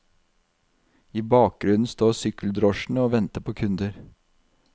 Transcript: I bakgrunnen står sykkeldrosjene og venter på kunder.